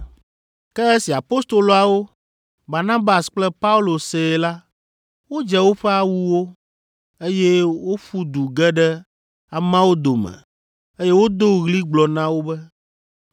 Ke esi apostoloawo, Barnabas kple Paulo see la, wodze woƒe awuwo, eye woƒu du ge ɖe ameawo dome eye wodo ɣli gblɔ na wo be,